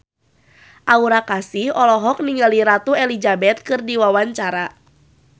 Aura Kasih olohok ningali Ratu Elizabeth keur diwawancara